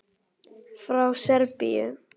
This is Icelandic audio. Frá Serbíu.